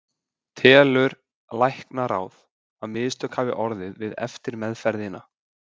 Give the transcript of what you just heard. Telur læknaráð, að mistök hafi orðið við eftirmeðferðina?